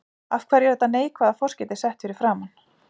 Af hverju er þetta neikvæða forskeyti sett fyrir framan?